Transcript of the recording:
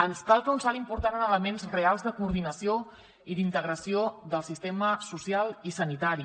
ens cal fer un salt important en elements reals de coordinació i d’integració del sistema social i sanitari